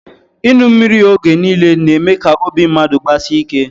Inu mmiri oge nille na eme ka obi mmadu gbasie ike